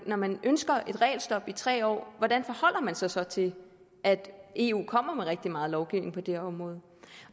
når man ønsker et regelstop i tre år hvordan forholder man sig så til at eu kommer med rigtig meget lovgivning på det her område